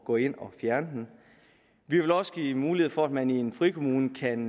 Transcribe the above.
gå ind at fjerne den vi vil også give mulighed for at man i en frikommune kan